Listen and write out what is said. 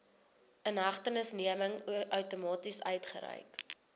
inhegtenisneming outomaties uitgereik